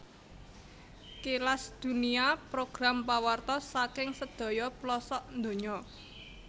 Kilas Dunia program pawartos saking sedaya plosok dunya